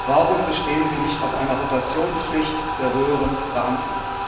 Warum besteht sie nicht auf einer Rotationspflicht der höheren Beamten?